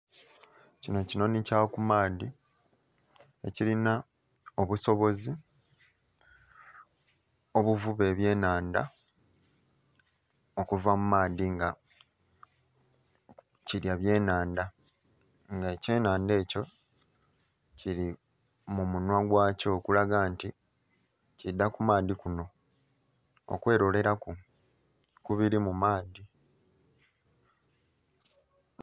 Kino kinhonhi kya ku maadhi ekirina obusozi obuvuba ebyenhandha okuva mu maadhi nga kirya byenhandha, nga ekyenhandha ekyo kiri mu munhwa gwakyo okulaga nti kiidha ku maadhi kuno okweloleraku ku biri mu maadhi.